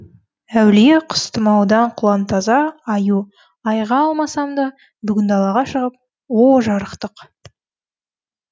әулие құс тұмаудан құлантаза айыға алмасам да бүгін далаға шығып о жарықтық